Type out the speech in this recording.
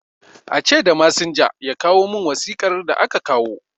A ce da masinja, ya kawo min wasiƙar da aka kawo